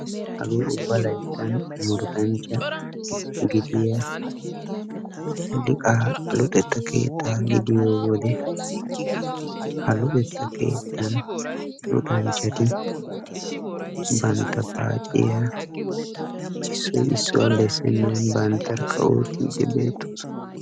Hagee ubba layittan murutanchcha gidiyaa liqaa luxetta keettaa gidiyo wode ha luxetta keettan luxanchchati bantta paaciya issoy issuwa bessennan banttarkka oottiidde beettoosona.